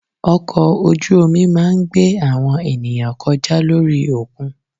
Ọkọ̀ ojú omi máa ń gbé àwọn ènìyàn kọjá lórí òkun.